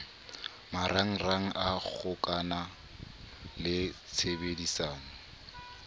marangrang a kgokano le tshebedisano